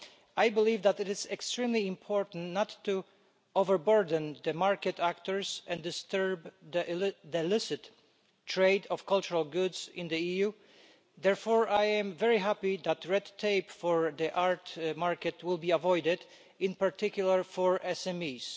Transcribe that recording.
I believe that it is extremely important not to overburden market actors and disturb the licit trade of cultural goods in the EU, therefore, I am very happy that red tape for the art market will be avoided, in particular for SMEs.